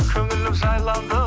көңілім жайланды